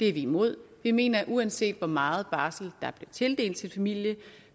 er vi imod vi mener at uanset hvor meget barsel der bliver tildelt en familie